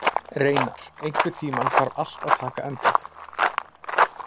Reynar, einhvern tímann þarf allt að taka enda.